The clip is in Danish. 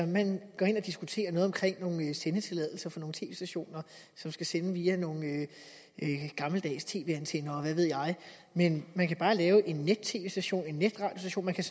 man går ind og diskuterer noget om nogle sendetilladelser for nogle tv stationer som skal sende via nogle gammeldags tv antenner og hvad ved jeg men man kan bare lave en net tv station en netradiostation man kan